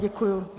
Děkuji.